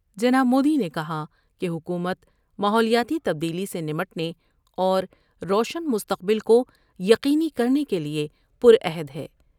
جناب مودی نے کہا کہ حکومت ماحولیاتی تبدیلی سے نمٹنے اور روشن مستقبل کو یقین کرنے کے لئے پر عہد ہے ۔